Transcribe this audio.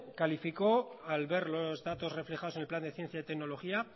calificó al ver los datos reflejados en el plan de ciencia y tecnología